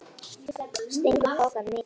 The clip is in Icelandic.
Stingur pokanum í það.